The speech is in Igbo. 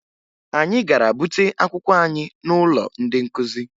Anyị gara bute akwụkwọ anyị n'ụlọ ndị nkụzi